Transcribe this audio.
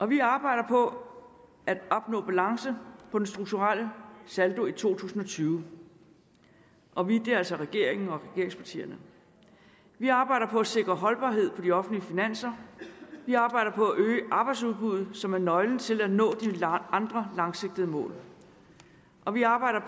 vi arbejder på at opnå balance på den strukturelle saldo i to tusind og tyve og vi er altså regeringen og regeringspartierne vi arbejder på at sikre holdbarhed på de offentlige finanser vi arbejder på at øge arbejdsudbuddet som er nøglen til at nå de andre langsigtede mål og vi arbejder